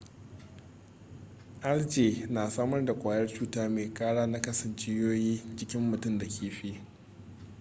algae na samar da kwayar cuta mai kara nakasa jijiyoyin jikin mutum da kifi